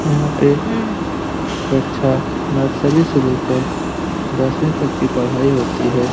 यहाँ पे कक्षा नर्सरी से लेकर दसवीं तक की पढ़ाई होती है।